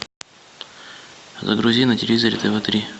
загрузи на телевизоре тв три